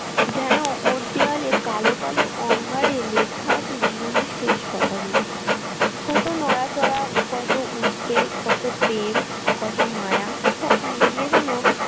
যেন ওর দেয়ালে কালো কালো অঙ্গারে লেখা আছে জীবনের শেষ কথাগুলি কত নড়াচড়া কত উদ্বেগ কত প্রেম কত মায়া সব মিলিয়ে যেন।